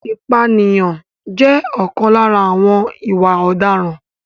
Ìpànìyàn jẹ́ ọ̀kan lára àwọn ìwà ọ̀daràn.